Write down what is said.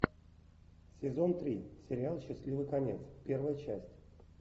сезон три сериал счастливый конец первая часть